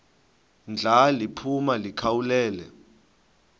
ndla liphuma likhawulele